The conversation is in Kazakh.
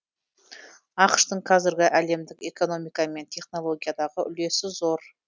ақш тың қазір әлемдік экономика мен технологиядағы үлесі зор